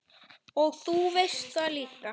Og þú veist það líka.